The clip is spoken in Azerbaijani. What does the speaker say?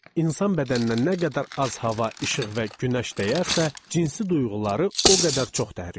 İnsan bədəninə nə qədər az hava, işıq və günəş dəyərsə, cinsi duyğuları o qədər çox təhrik olur.